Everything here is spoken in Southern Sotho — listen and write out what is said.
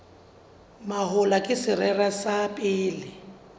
mahola ke sera sa pele